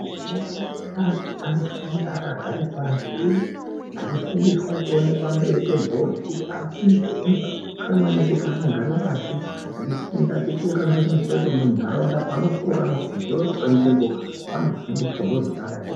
Ana mukilasi anofunda akagare pashi, achifundiswa achiona pamberi pebhodhi, kuti anofundiswawo zvakakosha maningi kuti ana agare pashi achifunda muntharaunda, peanokura anoziya kuti panzvimbo panohambiswa zviro zvakadayi.